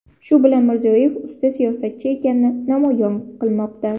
Shu bilan Mirziyoyev usta siyosatchi ekanini namoyon qilmoqda.